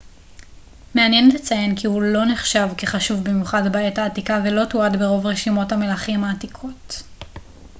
מעניין לציין כי הוא לא נחשב כחשוב במיוחד בעת העתיקה ולא תועד ברוב רשימות המלכים העתיקות